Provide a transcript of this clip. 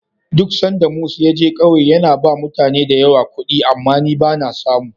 Duk sanda Mus ya je ƙauye, yana ba mutane da yawa kuɗi, amma ni ba na samu.